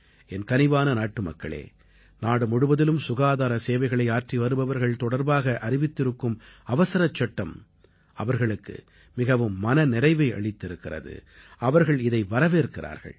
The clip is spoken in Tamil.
என் கனிவான நாட்டுமக்களே நாடு முழுவதிலும் சுகாதார சேவைகளை ஆற்றி வருபவர்கள் தொடர்பாக அறிவித்திருக்கும் அவசரச்சட்டம் அவர்களுக்கு மிகவும் மன நிறைவை அளித்திருக்கிறது அவர்கள் இதை வரவேற்கிறார்கள்